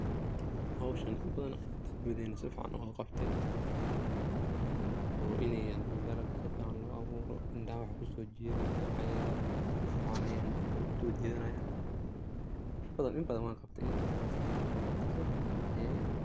Howshan in badan gurigena ayan si fican oga qabtay oo iney dalaga si fican loo aburo indhaha waxa kusojidhanaya cagarka si fican ayey indhaha uso jidhanayan inbadan, inbadan wan qabtay , in badana si fican uso qabtay .